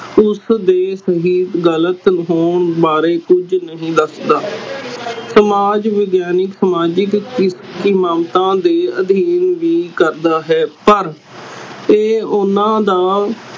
ਉਸਦੇ ਠੀਕ ਗ਼ਲਤ ਹੋਣ ਬਾਰੇ ਕੁਛ ਨਹੀਂ ਦੱਸਦਾ ਸਮਾਜ ਵਿਗਿਆਨਿਕ ਸਮਾਜਿਕ ਦੇ ਅਧੀਨ ਵੀ ਕਰਦਾ ਹੈ ਪਾਰ ਇਹ ਓਹਨਾ ਦਾ